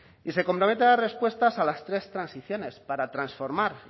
y se compromete a dar respuestas a las tres transiciones para transformar